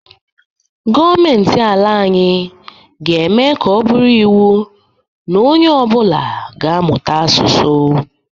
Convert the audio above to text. Gọọmentị ala anyị ga-eme ka ọ bụrụ iwu na ọ nye ọbụla ga- amụta asusụ.